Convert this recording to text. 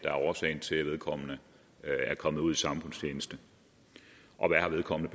er årsagen til at vedkommende er kommet ud i samfundstjeneste og hvad vedkommende